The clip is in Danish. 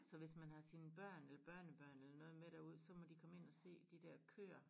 Så hvis man har sine børn eller børnebørn eller noget med derud så må de komme ind og se de dér køer